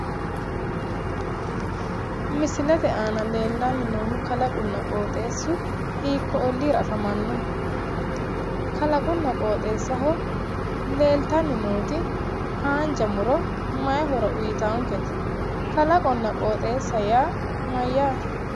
Misilete aana leellanni noohu kalaqunna qooxeessu hiikkuuyi ollira afamanno? Kalaqqunna qoxeessaho leeltanni nooti haanja mu'ro maayi horo uyitaankete? Kalaqonna qooxeessa yaa mayyaate?